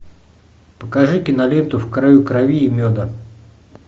покажи киноленту в краю крови и меда